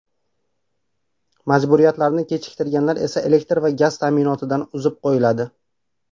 Majburiyatlarni kechiktirganlar esa elektr va gaz ta’minotidan uzib qo‘yiladi.